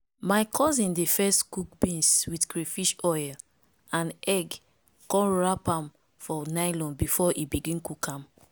my cousin dey first cook beans with crayfish oil and egg con wrap am for nylon before e begin cook am